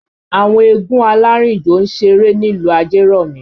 Àwọn eégún alárìnjò ń ṣeré nílùú Ajeromi